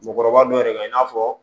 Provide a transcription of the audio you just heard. Musokɔrɔba dɔ de ka i n'a fɔ